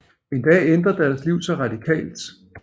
En dag ændrer deres liv sig radikalt